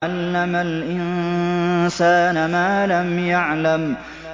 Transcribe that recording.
عَلَّمَ الْإِنسَانَ مَا لَمْ يَعْلَمْ